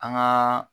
An gaa